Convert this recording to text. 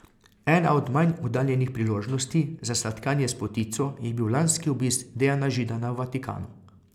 Ena od manj oddaljenih priložnosti za sladkanje s potico je bil lanski obisk Dejana Židana v Vatikanu.